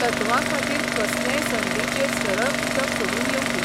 तत्वांखातीर कसलेय संदीचेर सरळ उदक सोडून येवपी.